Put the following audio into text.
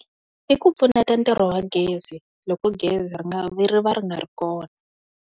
I ku pfuna ntirho wa gezi loko gezi ri nga ri va ri nga ri kona.